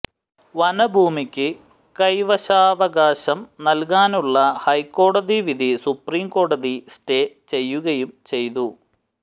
വനഭൂമിക്ക് കൈവശാവകാശം നല്കാനുള്ള ഹൈക്കോടതി വിധി സുപ്രീം കോടതി സ്റ്റേ ചെയ്യുകയും ചെയ്തു